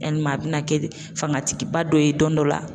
Yalima a bɛna kɛ de fanga tigiba dɔ ye don dɔ la.